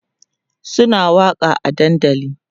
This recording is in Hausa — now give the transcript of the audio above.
Suna waƙa a dandali